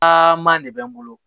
aaman de bɛ n bolo